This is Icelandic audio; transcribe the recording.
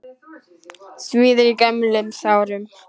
Svíður í gömlum sárum.